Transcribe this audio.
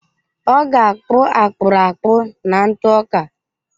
Ọ ga-akpụ akpụrụ akpụ na ntụ ọka.